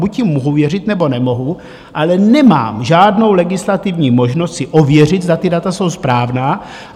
Buď jim mohu věřit, nebo nemohu, ale nemám žádnou legislativní možnost si ověřit, zda ta data jsou správná.